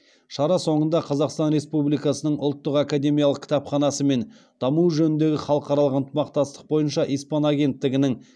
шара соңында қазақстан республикасының ұлттық академиялық кітапханасы мен даму жөніндегі халықаралық ынтымақтастық бойынша испан агенттігінің